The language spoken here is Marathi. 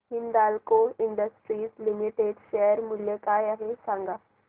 हिंदाल्को इंडस्ट्रीज लिमिटेड शेअर मूल्य काय आहे मला सांगा